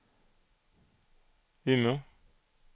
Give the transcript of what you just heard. Umeå